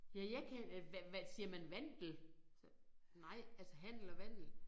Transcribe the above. Ja jeg kan hvad hvad siger man vandel nej altså handel og vandel